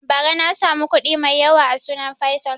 Ba ra na samu kuɗi mai yawa a sunan faisal